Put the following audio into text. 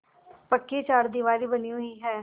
पक्की चारदीवारी बनी हुई है